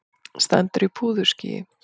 Stendur í púðurskýi.